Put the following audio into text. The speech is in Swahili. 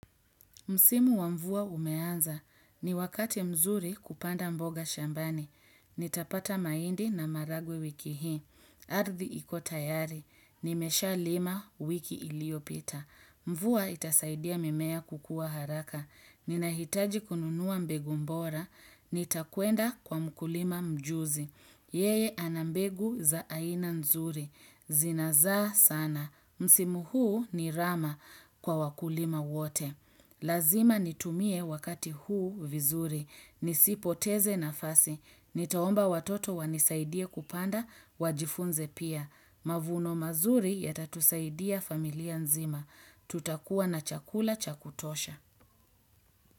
Msimu wa mvua umeanza. Ni wakati mzuri kupanda mboga shambani. Nitapata maindi na maragwe wiki hii. Ardhi ikotayari. Nimesha lima wiki ilio pita. Mvua itasaidia mimea kukua haraka. Ninahitaji kununuwa mbegu mbora. Nitakuenda kwa mkulima mjuzi. Yeye anambegu za aina nzuri. Zinaza sana. Msimu huu ni rama kwa wakulima wote. Lazima nitumie wakati huu vizuri. Nisipoteze nafasi. Nitaomba watoto wanisaidie kupanda wajifunze pia. Mavuno mazuri ya tatusaidia familia nzima. Tutakuwa na chakula chakutosha.